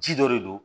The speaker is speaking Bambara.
Ji dɔ de don